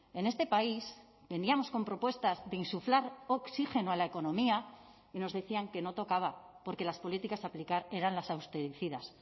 en este país veníamos con propuestas de insuflar oxígeno a la economía y nos decían que no tocaba porque las políticas a aplicar eran las austericidas